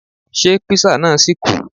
Ṣé Písà náà ṣì kù?